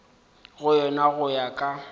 go yona go ya ka